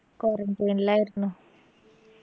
quarantine ആയിരുന്നു